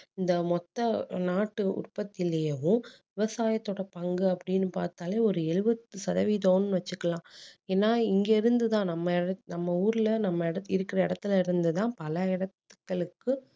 இந்த மொத்த அஹ் நாட்டு உற்பத்திலேவும் விவசாயத்தோட பங்கு அப்படீன்னு பார்த்தாலே ஒரு எழுபது சதவீதம்னு வச்சிக்கலாம் ஏன்னா இங்க இருந்து தான் நம்ம நம்ம ஊர்ல நம்ம இருக்குற இடத்துல இருந்து தான் பல இடத்~இடங்களுக்கு